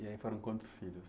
E aí foram quantos filhos?